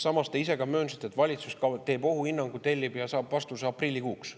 Samas te ise ka möönsite, et valitsus tellib ohuhinnangu ja saab vastuse aprillikuuks.